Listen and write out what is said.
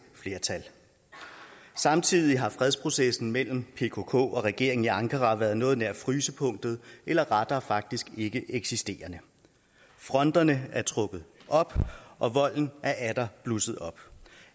flertal samtidig har fredsprocessen mellem pkk og regeringen i ankara været på noget nær frysepunktet eller rettere faktisk ikkeeksisterende fronterne er trukket op og volden er atter blusset op